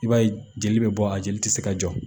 I b'a ye jeli bɛ bɔ a jeli tɛ se ka jɔ